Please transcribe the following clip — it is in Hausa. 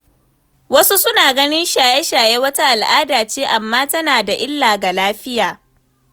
Wasu suna ganin shaye-shaye wata al’ada ce, amma tana da illa ga lafiya.